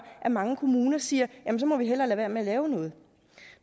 at mange kommuner siger jamen så må vi hellere lade være med at lave noget